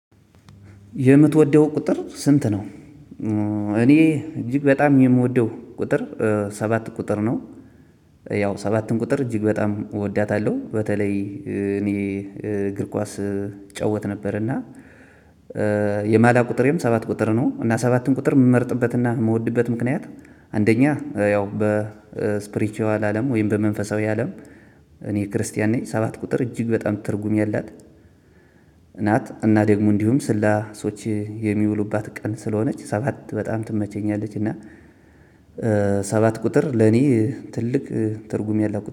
የምትወደው ቁጥር ስንት? ነው እኔ እጅግ በጣም የምወደው ቁጥር ሰባት ቁጥር ነው። ያው ሰባትን ቁጥር እጅግ በጣም እወዳታለሁ በተለይ እኔ እግር ኳስ እጫወት ነበር። እና የማልያ ቁጥሬም ሰባት ቁጥር ነው እና ሰባትም ቁጥር እምመርጥበትና እምወድበት ምክንያት። አንደኛ ያው በስፕሪቹዋል አለም ወይም በመንፈሳዊ አለም። እኔ ክርስቲያን ነኝ ሰባት ቁጥር እጅግ በጣም ትርጉም ያላት። ናት እና ደግሞ እንዲሁም ስላሶች የሚውሉባት ቀን ስለሆነች ሰባት በጣም ትመቸኛለች። እና ሰባት ቁጥር ለኔ ትልቅ ትርጉም ያለው